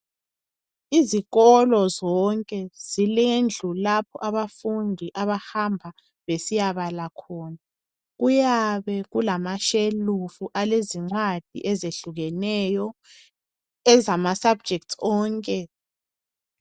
Izikolo zonke zilendlu lapho abafundi abahamba besiyabala khona. Kuyabe kulamashelufu alezincwadi ezehlukeneyo ezezifundo zonke.